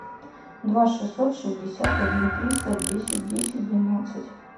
два шестьсот шестьдесят один триста десять десять двенадцать